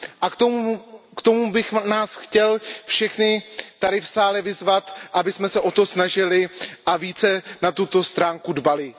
K tomu bych nás chtěl všechny tady v sále vyzvat, abychom se o to snažili a více na tuto stránku dbali.